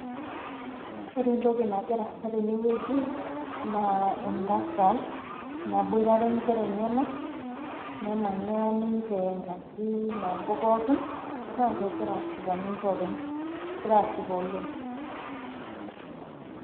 Ore entoki nagira aasa tenewueji, naa entasat naboitare inkera enyanak, nemanya ninche nabo pookin, na kegira ashipa ninche openy. Kegirai ashipa oleng.